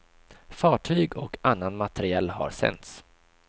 Fartyg och annan materiel har sänts.